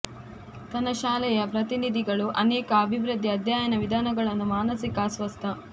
ತನ್ನ ಶಾಲೆಯ ಪ್ರತಿನಿಧಿಗಳು ಅನೇಕ ಅಭಿವೃದ್ಧಿ ಅಧ್ಯಯನ ವಿಧಾನಗಳನ್ನು ಮಾನಸಿಕ ಅಸ್ವಸ್ಥ